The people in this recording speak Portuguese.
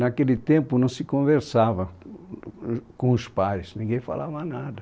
Naquele tempo não se conversava com, com os pais, ninguém falava nada.